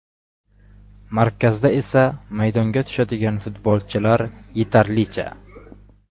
Markazda esa maydonga tushadigan futbolchilar yetarlicha.